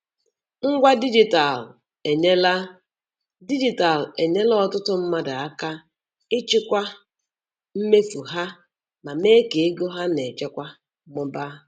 Ngwa dijitalụ enyerela dijitalụ enyerela ọtụtụ mmadụ aka ịchịkwa mmefu ha ma mee ka ego ha na-echekwa mụbaa.